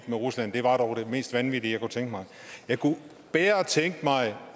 med rusland det var dog det mest vanvittige jeg kunne tænke mig jeg kunne bedre tænke mig